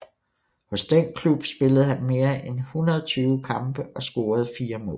Hos den klub spillede han mere end 120 kampe og scorede 4 mål